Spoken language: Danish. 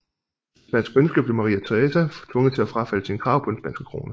Efter spansk ønske blev Maria Teresa tvunget til at frafalde sine krav på den spanske krone